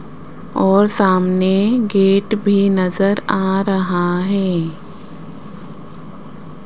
और सामने गेट भी नजर आ रहा हैं।